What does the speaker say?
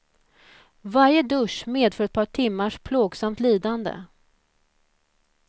Varje dusch medför ett par timmars plågsamt lidande.